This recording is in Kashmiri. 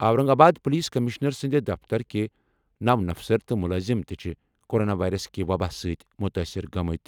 اورنگ آباد پُلیٖس کٔمِشنر سٕنٛدِ دفترٕکہِ نَو اَفسَر تہٕ مُلٲزِم تہِ چھِ کوروناوائرس کہِ وبا سۭتۍ مُتٲثِر گٔمٕتۍ۔